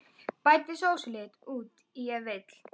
Bætið sósulit út í ef vill.